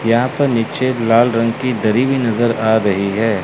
यहां पर नीचे लाल रंग की दरी भी नजर आ रही है।